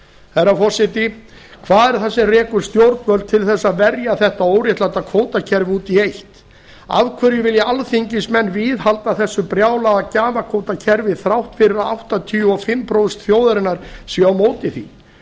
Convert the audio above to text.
herra forseti hvað er það sem rekur stjórnvöld til þess að verja þetta óréttláta kvótakerfi út í eitt af hverju vilja alþingismenn viðhalda þessu brjálaða gjafakvótakerfi þrátt fyrir að áttatíu og fimm prósent þjóðarinnar séu á móti því